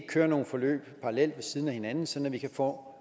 køre nogle forløb parallelt ved siden af hinanden sådan at vi kan få